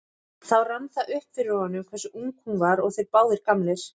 Þá rann það upp fyrir honum hversu ung hún var og þeir báðir gamlir.